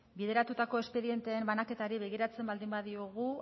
bideratutako espedienteen banaketari begiratzen baldin badiogu